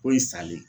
Ko in salen